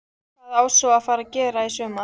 Hvað á svo að fara að gera í sumar?